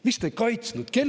" Miks te ei kaitsnud?